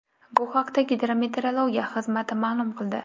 Bu haqda Gidrometeorologiya xizmati ma’lum qildi .